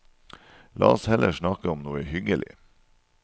La oss heller snakke om noe hyggelig.